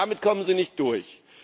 Also, damit kommen Sie nicht durch.